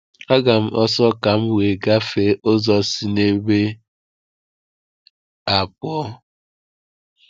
Aga m ọsọ ka m wee gafee ụzọ si n’ebe a pụọ.